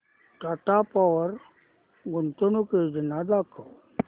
टाटा पॉवर गुंतवणूक योजना दाखव